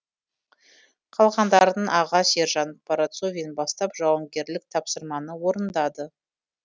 қалғандарын аға сержант парацовин бастап жауынгерлік тапсырманы орындады